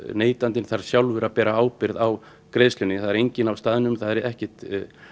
neytandinn þarf sjálfur að bera ábyrgð á greiðslunni það er enginn á staðnum það er ekkert